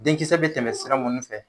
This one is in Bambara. Denkisɛ bɛ tɛmɛsira munnu fɛ